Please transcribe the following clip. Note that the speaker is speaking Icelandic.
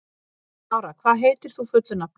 Lára, hvað heitir þú fullu nafni?